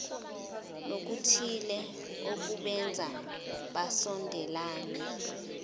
nokuthile okubenza basondelane